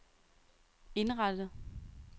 indrettet